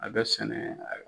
A bɛ sɛnɛ